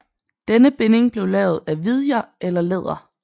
Denne binding blev lavet af vidjer eller læder